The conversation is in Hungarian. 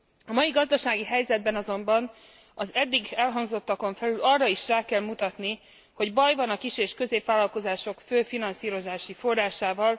A mai gazdasági helyzetben azonban az eddig elhangzottakon felül arra is rá kell mutatni, hogy baj van a kis és középvállalkozások fő finanszírozási forrásával.